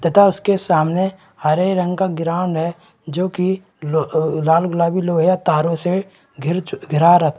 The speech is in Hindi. तथा उसके सामने हरे रंग का ग्राउंड है जोकि लो लाल गुलाबी लोहिया तारों से घिर चूक घिरा रखा--